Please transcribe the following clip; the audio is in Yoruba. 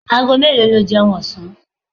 Ago melo lo jeun osan?